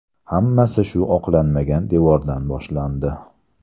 Hammasi shu oqlanmagan devordan boshlandi.